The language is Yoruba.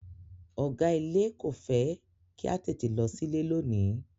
Ọ̀gá ilé kò fẹ́ kí a tètè lọ sílé lónìí.